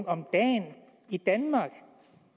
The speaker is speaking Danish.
om dagen i danmark